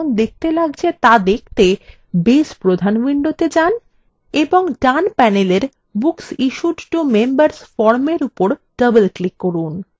base প্রধান window main এবং main panel books issued to members ফর্মের উপর double click করুন